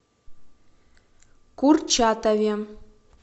курчатове